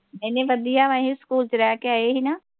ਨਹੀ ਨਹੀ ਵਧੀਆ ਵਾ ਅਸੀ ਸਕੂਲ ਚ ਰਹਿ ਕੇ ਆਏ ਸੀ ਨਾ।